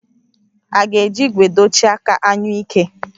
A ga-eji ígwè dochie aka anyụike